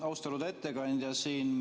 Austatud ettekandja!